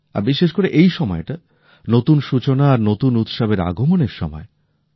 আর বিশেষ করে এই সময়টা নতুন সূচনা আর নতুন উৎসবের আগমনের সময়